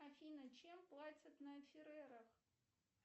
афина чем платят на ферерах